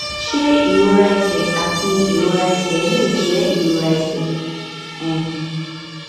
ṣé ìrora ẹsè àti ìrora ẹsè lè jé ìrora ẹsè um